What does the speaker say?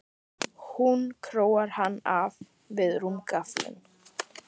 Hún króar hann af við rúmgaflinn.